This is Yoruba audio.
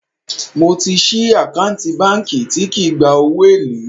Mo ti sì àkáǹtì báńkì tí kì í gba owó èlé